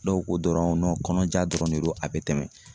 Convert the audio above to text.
Dɔw ko dɔrɔn kɔnɔja dɔrɔn de don a be tɛmɛ.